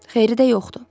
Xeyri də yoxdur.